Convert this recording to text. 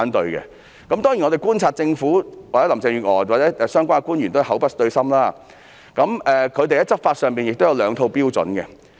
當然，據我們觀察所得，林鄭月娥及相關官員均是口不對心，在執法上亦有兩套標準。